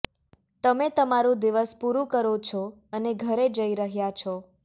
તમે તમારું દિવસ પૂરું કરો છો અને ઘરે જઇ રહ્યા છો